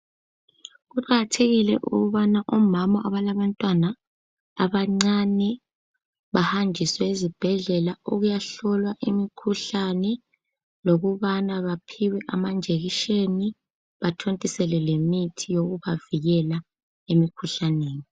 Kuqakathekile ukubana omama abalabantwana abancane bahanjiswe ezibhedlela ukuyahlolwa imikhuhlane lokubana baphiwe amanjekisheni bathontiselwe lemithi yokubavikela emikhuhlaneni.